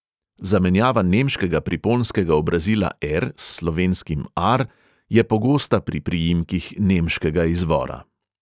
Zamenjava nemškega priponskega obrazila -er s slovenskim -ar je pogosta pri priimkih nemškega izvora.